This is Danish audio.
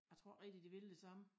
Jeg tror ik rigtig de vil det samme